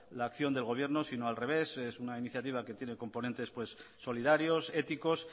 la acción del gobierno sino al revés es una iniciativa que tiene componentes solidarios éticos